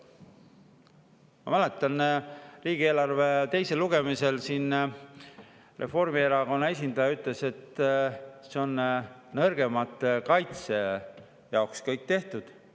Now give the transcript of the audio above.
Ma mäletan, et riigieelarve teisel lugemisel Reformierakonna esindaja ütles, et see kõik on nõrgemate kaitseks tehtud.